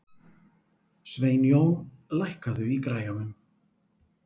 Sveinjón, lækkaðu í græjunum.